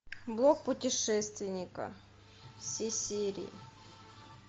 блог путешественника все серии